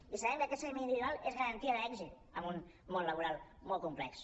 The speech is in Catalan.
i sabem que aquest seguiment individual és garantia d’èxit en un món laboral molt complex